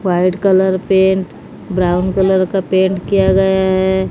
White colour paint brown colour का paint किया गया है।